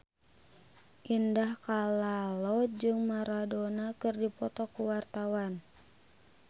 Indah Kalalo jeung Maradona keur dipoto ku wartawan